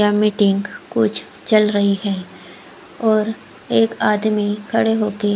या मीटिंग कुछ चल रही है एक आदमी खडे होकर--